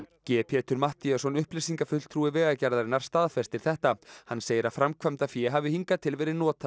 g Pétur Matthíasson upplýsingafulltrúi Vegagerðarinnar staðfestir þetta hann segir að framkvæmdafé hafi hingað til verið notað